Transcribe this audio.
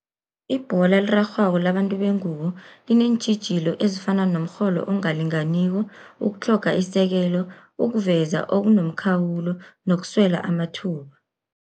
Ibhola elirarhwako labantu bengubo lineentjhijilo ezifana nomrholo ongalinganiko, ukutlhoga isekelo, ukuveza okunomkhawulo nokuswela amathuba.